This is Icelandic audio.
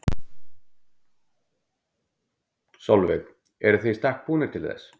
Sólveig: Eruð þið í stakk búnir til þess?